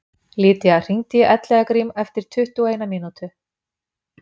Lydia, hringdu í Elliðagrím eftir tuttugu og eina mínútur.